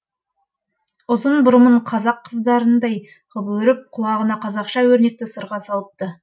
ұзын бұрымын қазақ қыздарындай ғып өріп құлағына қазақша өрнекті сырға салыпты